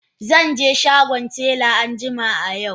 Zan je shagon tela anjima a yau.